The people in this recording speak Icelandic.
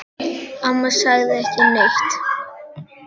Amma sagði ekki neitt.